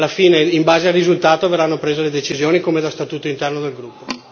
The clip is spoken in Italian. Alla fine, in base al risultato verranno prese le decisioni come da statuto interno del gruppo.